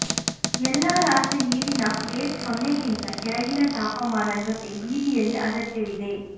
ಎಲ್ಲಾ ರಾತ್ರಿ ನೀರಿನ ಪ್ಲೇಟ್ ಸೊನ್ನೆಗಿಂತ ಕೆಳಗಿನ ತಾಪಮಾನ ಜೊತೆ ಬೀದಿಯಲ್ಲಿ ಅಗತ್ಯವಿದೆ